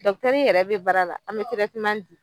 yɛrɛ be baara la, an be di.